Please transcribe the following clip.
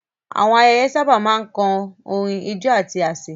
Àwọn ayẹyẹ sábà máa ń kan orin, ijó, àti àsè.